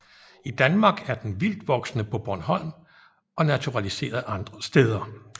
I Danmark er den vildtvoksende på Bornholm og naturaliseret andre steder